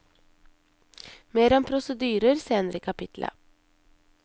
Mer om prosedyrer senere i kapittelet.